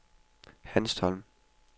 Hanstholm